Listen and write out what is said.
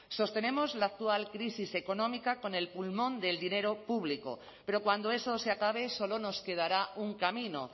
sostenemos la actual crisis económica con el pulmón del dinero público pero cuando eso se acabe solo nos quedará un camino